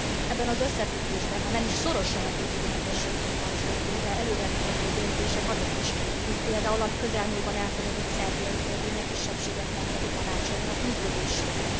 Ebben az összefüggésben, ha nem is szorosan a vízummentességhez kapcsolódó, de előre mutató döntések azok is, mint például a közelmúltban elfogadott szerbiai törvény a kisebbségek nemzeti tanácsainak működéséről.